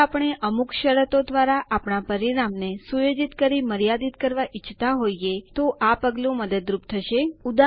જો આપણે અમુક શરતો દ્વારા આપણા પરિણામ ને સુયોજિત કરી મર્યાદિત કરવા ઈચ્છતા હોઈએ તો આ પગલું મદદરૂપ થશે